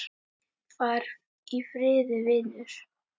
Far í friði, vinur.